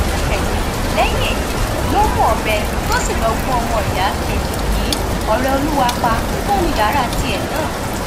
um lẹyìn èyí ló mú ọbẹ tó sì lọọ gún ọmọ ìyá um yìí ọrẹọlọwà pa mọnú yàrá tìẹ náà